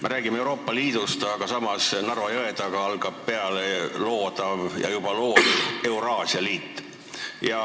Me räägime Euroopa Liidust, aga samas Narva jõe taga algab loodav või juba loodud Euraasia Liit.